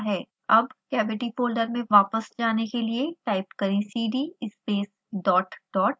अब cavity folder में वापस जाने के लिए टाइप करें cd space dot dot